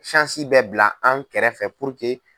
bɛɛ bila an kɛrɛfɛ .